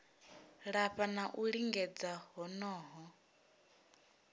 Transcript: lafha ha u lingedza honoho